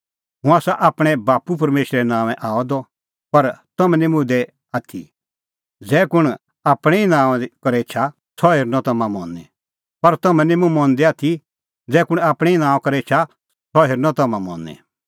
हुंह आसा आपणैं बाप्पू परमेशरे नांओंऐं आअ द पर तम्हैं निं मुंह मंदै आथी ज़ै कुंण आपणैं ई नांओंआं करै एछा सह हेरनअ तम्हां मनी